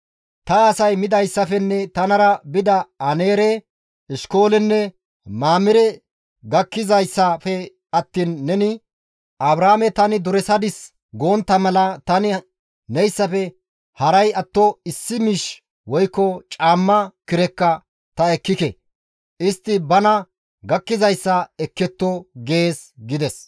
Ta asay midayssafenne tanara bida Aneere, Eshkoolenne Mamire gakkizayssafe attiin neni, ‹Abraame tani duresadis gontta mala tani neyssafe haray atto issi miish woykko caamma kirekka ta ekkike; istti bana gakkizayssa ekketto› gees» gides.